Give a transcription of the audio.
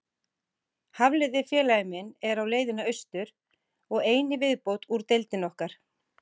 Hafliði félagi minn er á leiðinni austur, og ein í viðbót úr deildinni okkar.